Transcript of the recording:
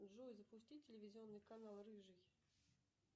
джой запусти телевизионный канал рыжий